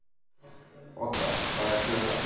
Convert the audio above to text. Odda, hvað er klukkan?